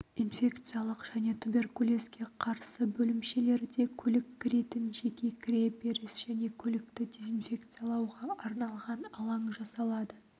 инфекциялық және туберкулезге қарсы бөлімшелерде көлік кіретін жеке кіреберіс және көлікті дезинфекциялауға арналған алаң жасалады